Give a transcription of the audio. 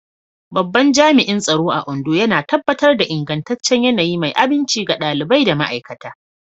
Babban Jami'in Tsaro a Ondo yana tabbatar da ingantaccen yanayi mai aminci ga ɗalibai da ma'aikata.